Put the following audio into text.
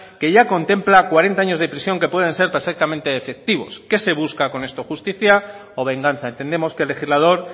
que ya contempla cuarenta años de prisión que pueden ser perfectamente efectivos qué se busca con esto justicia o venganza entendemos que el legislador